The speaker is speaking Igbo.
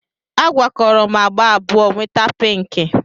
A gwakọrọ m agba abụọ, nweta pinki